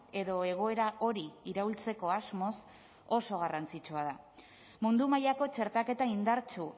edo egoera hori iraultzeko asmoz oso garrantzitsua da mundu mailako txertaketa indartsu